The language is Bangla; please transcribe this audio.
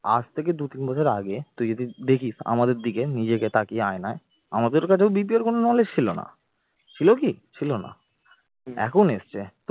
আজ থেকে দু-তিন বছর আগে তুই যদি দেখিস আমাদের দিকে নিজেকে তাকিয়ে আয়নায় আমাদের কাছেও BPO র কোন knowledge ছিল না, ছিল কি? ছিল না, এখন এসেছে